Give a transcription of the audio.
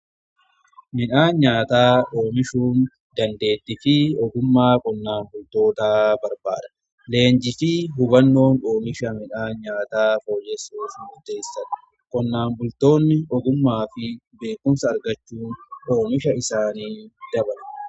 Midhaan nyaataa oomishuu dandeetti fi ogummaa qonnaan bultootaa barbaada. Leenjii fi hubannoon oomisha midhaan nyaataa fooyessuuf muteessadha. Qonnaan bultoonni ogummaa fi beekumsa argachuu oomisha isaanii dabala.